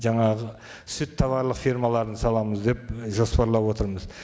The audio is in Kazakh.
жаңағы сүт тауарлық фермаларын саламыз деп і жоспарлап отырмыз